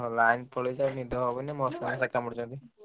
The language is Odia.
Line ଫାଇନ ପଳେଇଛି ନିଦ ହବନି ମଶା ଫଶା କାମୁଡୁଛନ୍ତି।